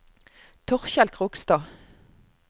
Torkel Krogstad